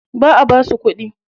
Ba a basu kuɗi.